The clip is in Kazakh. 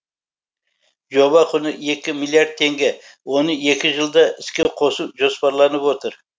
жоба құны екі миллиард теңге оны екі жылда іске қосу жоспарланып отыр